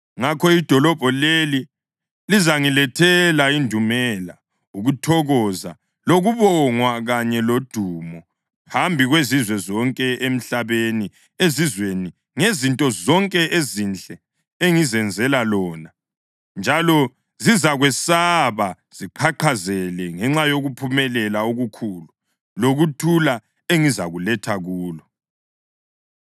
Ngakho idolobho leli lizangilethela indumela, ukuthokoza, lokubongwa kanye lodumo phambi kwezizwe zonke emhlabeni ezizwa ngezinto zonke ezinhle engizenzela lona; njalo zizakwesaba ziqhaqhazele ngenxa yokuphumelela okukhulu lokuthula engizakuletha kulo.’